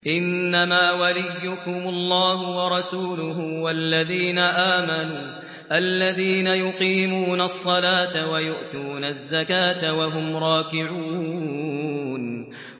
إِنَّمَا وَلِيُّكُمُ اللَّهُ وَرَسُولُهُ وَالَّذِينَ آمَنُوا الَّذِينَ يُقِيمُونَ الصَّلَاةَ وَيُؤْتُونَ الزَّكَاةَ وَهُمْ رَاكِعُونَ